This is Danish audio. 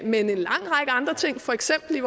men en lang række andre ting for eksempel at